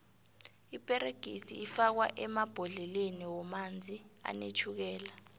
iperegisi ifakwo emabhodleleni womanzi anetjhukela